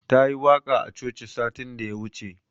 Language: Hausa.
Ta yi waƙa a coci satin da ya wuce.